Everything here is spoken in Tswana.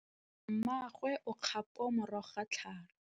Mmagwe o kgapô morago ga tlhalô.